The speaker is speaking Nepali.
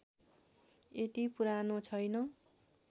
यति पुरानो छैन